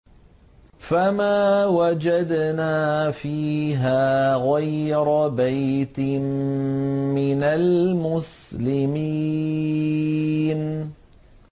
فَمَا وَجَدْنَا فِيهَا غَيْرَ بَيْتٍ مِّنَ الْمُسْلِمِينَ